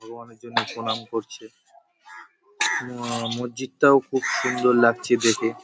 ও অনেক জনে প্রণাম করছে। ম আ মসজিদ -টাও খুব সুন্দর লাগছে দেখে ।